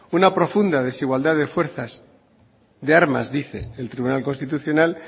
una profunda desigualdad de fuerzas de armas dice el tribunal constitucional